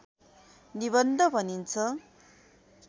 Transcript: निबन्ध भनिन्छ